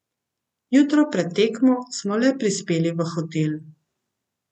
Jutro pred tekmo smo le prispeli v hotel.